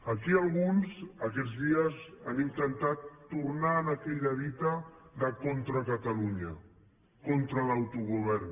aquí alguns aquests dies han intentat tornar a aquella dita de contra catalunya contra l’autogovern